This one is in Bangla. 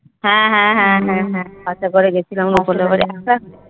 হ্যাঁ হ্যাঁ হ্যাঁ বাসে করে গেছিলাম রুপা দের বাড়ি।